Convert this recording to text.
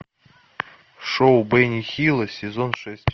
шоу бенни хилла сезон шесть